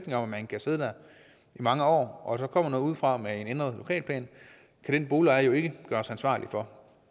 at man kan sidde der i mange år og at der så kommer nogle udefra med en ændret lokalplan kan den boligejer jo ikke gøres ansvarlig for